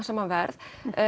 saman verð